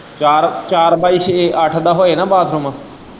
ਚਾਰ-ਚਾਰ ਪਾਈ ਛੇ ਅੱਠ ਦਾ ਹੋਏ ਨਾ ਬਾਥਰੂਮ।